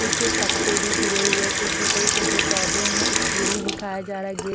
सूखे पत्ते भी गिरे हुए है कुछ छोटे छोटे पौधे है एक सीढ़ी दिखाया जा रहा है एक--